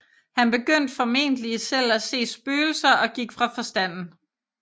Han begyndte formentlig selv at se spøgelser og gik fra forstanden